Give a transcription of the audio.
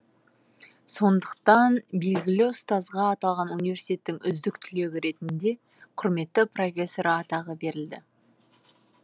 сондықтан белгілі ұстазға аталған университеттің үздік түлегі ретінде құрметті профессоры атағы берілді